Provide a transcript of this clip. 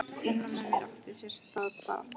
Innra með mér átti sér stað barátta.